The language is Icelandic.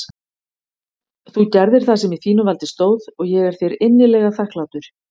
Þú gerðir það sem í þínu valdi stóð og ég er þér innilega þakklátur.